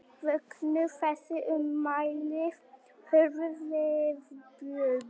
Vöktu þessi ummæli hörð viðbrögð